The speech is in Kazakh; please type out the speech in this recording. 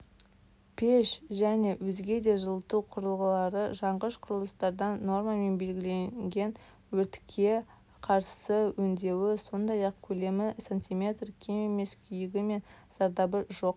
пеш және өзге де жылыту құрылғылары жанғыш құрылыстардан нормамен белгіленшен өртке қарсыиөндеуі сондай-ақ көлемі см кем емес күйігі мен зардабы жоқ